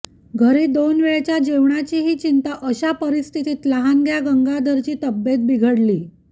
घरी दोन वेळच्या जेवणाचीही चिंता अशा परिस्थितीत लहानग्या गंगाधरची तब्येत बिघडली